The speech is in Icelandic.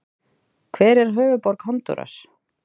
Hver er höfuðborg Honduras?